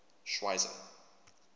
schweizer